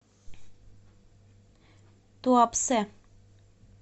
туапсе